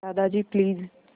Dadaji please